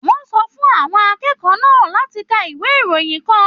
Wọn sọ fún àwọn akẹ́kọ̀ọ́ náà láti kà ìwé ìròyìn kàn.